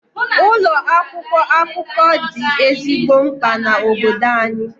Ụlọ akwụkwọ akụkọ dị ezigbo mkpa na obodo anyị.